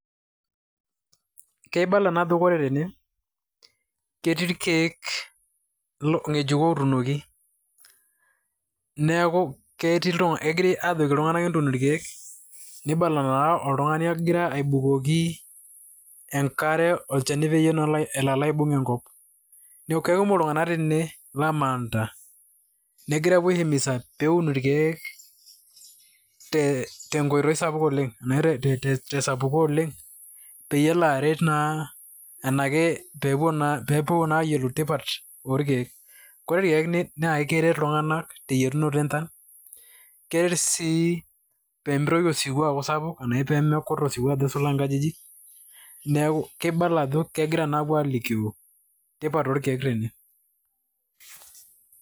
Keibala naa ajo kore tene ketii irkeek ngejuko otuunoki neeku ketii kegirai aajoki iltung'anak entuun irkeek, nibala naa oltung'ani ogira aibukoki enkare olchani peyie elo naa aibung' enkop. Neeku kekumok iltung'anak tene lamaanta naegira apuo ai himiza peun irkeek te nkoitoi sapuk oleng' anashe te sapuko oleng' pee elo aret naa anake pee epuonaa ayolou tipat orkeek. Kore irkeek naake keret iltung'anak te yetunoto enchan, keret sii pimitoki osiwuo aaku sapuk ashu peemitoki akut oleng' nkajijik. Neeku kibala ajo kegirai alikio entipat orkeek tene.